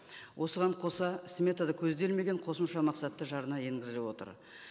осыған қоса сметада көзделмеген қосымша мақсатты жарна енгізіліп отыр